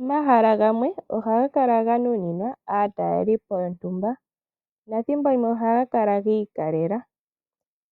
Omahala gamwe ohaga kala ga nuninwa aatalelipo yontumba, nothimbo limwe ohaga kala giikalela.